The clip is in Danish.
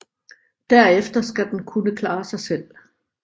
Derefter skal den kunne klare sig selv